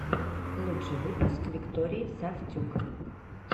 лучший выпуск виктории сафтюк